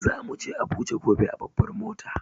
Za muje Abuja Gobe a babbar mota.